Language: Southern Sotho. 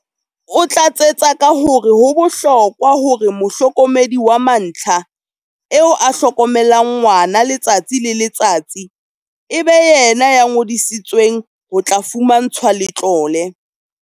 O tlatsetsa ka hore ho bohlokwa hore mohlokomedi wa mantlha, eo a hlokomelang ngwana letsatsi le le tsatsi, e be yena ya ngodisetsweng ho tla fumantshwa letlole.